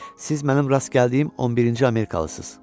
Siz mənim rast gəldiyim 11-ci amerikalısız.